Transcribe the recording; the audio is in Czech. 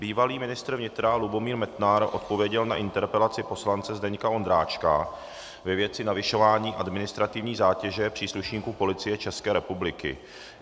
Bývalý ministr vnitra Lubomír Metnar odpověděl na interpelaci poslance Zdeňka Ondráčka ve věci navyšování administrativní zátěže příslušníků Policie České republiky.